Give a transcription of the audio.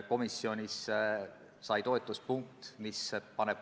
Komisjonis minu isiklike tundmusi ei arutatud.